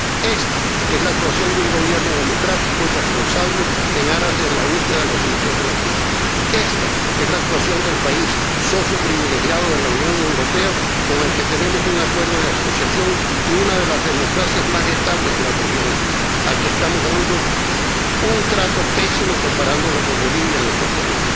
Esta es la actuación de un Gobierno democrático y responsable, en aras de la búsqueda de la solución de la crisis. Esta es la actuación de un país que es socio privilegiado de la Unión Europea —con el que tenemos un Acuerdo de Asociación— y una de las democracias más estables de la región, al que estamos dando un trato pésimo comparándolo con Bolivia en este Pleno.